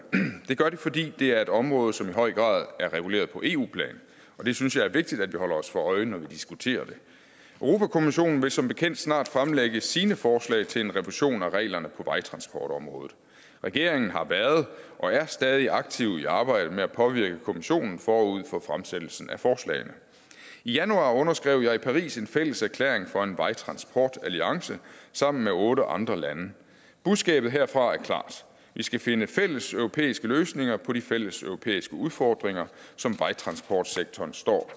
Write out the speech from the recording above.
det gør det fordi det er et område som i høj grad er reguleret på eu plan og det synes jeg er vigtigt at vi holder os for øje når vi diskuterer det europa kommissionen vil som bekendt snart fremlægge sine forslag til en revision af reglerne på vejtransportområdet regeringen har været og er stadig aktiv i arbejdet med at påvirke kommissionen forud for fremsættelsen af forslagene i januar underskrev jeg i paris en fælles erklæring for en vejtransportalliance sammen med otte andre lande budskabet herfra er klart vi skal finde fælles europæiske løsninger på de fælles europæiske udfordringer som vejtransportsektoren står